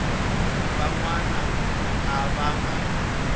van wana a va nga